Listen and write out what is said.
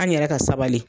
An yɛrɛ ka sabali